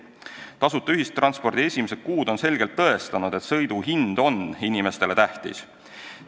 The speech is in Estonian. Tasuta ühistranspordi esimesed kuud on selgelt tõestanud, et sõidu hind on inimestele tähtis.